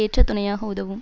ஏற்ற துணையாக உதவும்